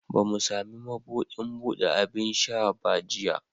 Ba mu sami mabudin bude abin sha ba jiya